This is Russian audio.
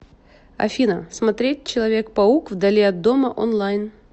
афина смотреть человек паук вдали от дома онлайн